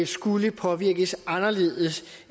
skulle påvirkes anderledes